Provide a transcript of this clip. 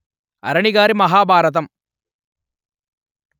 అరణి గారి మహా భారతం